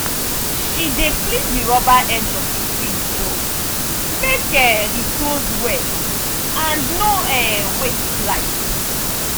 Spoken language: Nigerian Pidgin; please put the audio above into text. she dey clean the rubber edge of the fridge door make um e close well and no um waste light.